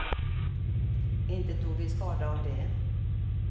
Inte tog vi skada av det.